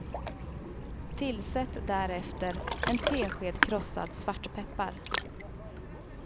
Tillsätt därefter en tesked krossad svartpeppar.